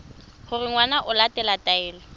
gore ngwana o latela taelo